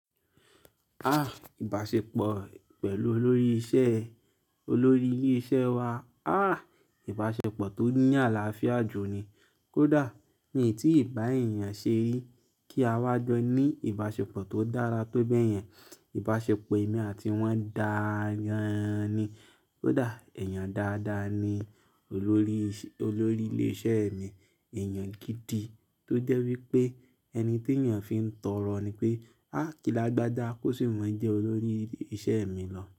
Ah! Ìbáṣepọ̀ pẹ̀lú olórí isẹ́, olórí ilé iṣẹ́ wa, ah ìbáṣepọ̀ tó ní àlàáfíà jù ni. Kódà ní etí ìbá yẹn ṣe rí kí a wá jọ ní ìbáṣepọ̀ tó dára tó bẹ́yẹn. Ìbáṣepọ̀ èmi àti wọ́n dágan ni. Kódà èèyàn dáadáa ni olórí isẹ́, olórí ilé iṣẹ́ mi. Èèyàn gidi tó jẹ́ wípé ẹni tí èèyàn fi ń tọrọ ni pé, ah! Kílàgbàjà kó sì má jẹ olórí iṣẹ́ mi lọ.